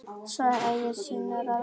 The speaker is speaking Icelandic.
Svona eiga synir að vera.